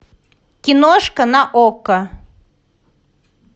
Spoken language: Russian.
киношка на окко